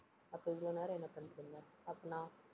அப்ப இவ்வளவு நேரம் என்ன பண்ணிட்டிருந்த? அப்ப நா~